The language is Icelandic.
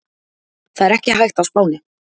Það er ekki hægt á Spáni.